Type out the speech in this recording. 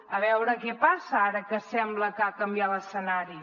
a veure què passa ara que sembla que ha canviat l’escenari